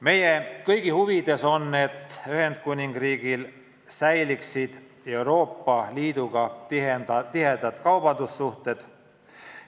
Meie kõigi huvides on, et Ühendkuningriigil oleksid Euroopa Liiduga ka tulevikus head kaubandussuhted.